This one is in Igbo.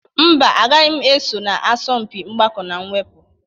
Mba, agaghị m eso na asọmpi mgbakọ na mwepụ.